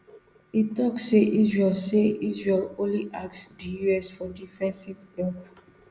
e tok say israel say israel only ask di us for defensive help